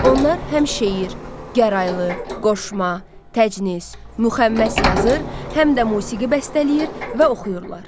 Onlar həm şeir, gəraylı, qoşma, təcnis, müxəmməs yazır, həm də musiqi bəstələyir və oxuyurlar.